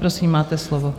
Prosím, máte slovo.